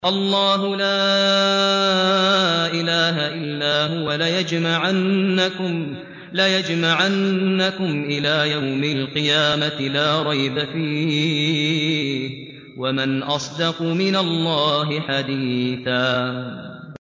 اللَّهُ لَا إِلَٰهَ إِلَّا هُوَ ۚ لَيَجْمَعَنَّكُمْ إِلَىٰ يَوْمِ الْقِيَامَةِ لَا رَيْبَ فِيهِ ۗ وَمَنْ أَصْدَقُ مِنَ اللَّهِ حَدِيثًا